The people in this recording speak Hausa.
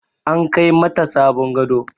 An Kai mata sabon gado.